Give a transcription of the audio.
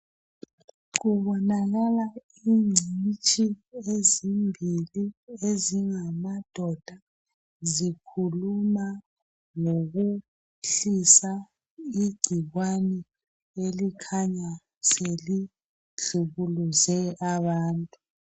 Kubonakala ingcitshi ezimbili ezingamadoda zikhuluma ngokwehlisa igcikwane elikhanya selihlukuluze abantu